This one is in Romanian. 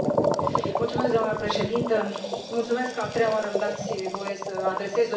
Doamnă președintă, vă mulțumesc că a treia oară îmi dați voie să adresez o întrebare.